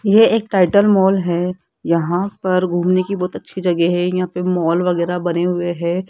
ये एक title mall है यहां पर घूमने की बहुत अच्छी जगह है यहां पे मॉल वगैरा बने हुए हैं।